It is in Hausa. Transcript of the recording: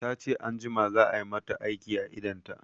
Tace anjima za a mata aiki a idonta